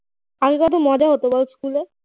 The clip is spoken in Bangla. আগে কত মজা হত বল school এ